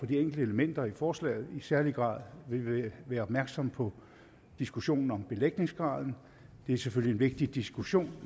de enkelte elementer i forslaget i særlig grad vil vi være opmærksom på diskussionen om belægningsgrad det er selvfølgelig en vigtig diskussion